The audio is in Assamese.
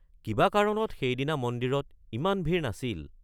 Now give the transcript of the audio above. কিবা কাৰণত সেইদিনা মন্দিৰত ইমান ভিৰ নাছিল।